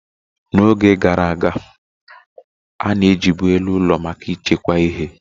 Na oge gara aga, a na ejibu elu ụlọ maka echekwa ihe